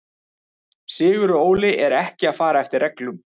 Sigurður Óli er ekki að fara eftir reglum.